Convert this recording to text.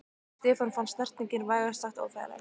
Stefáni fannst snertingin vægast sagt óþægileg.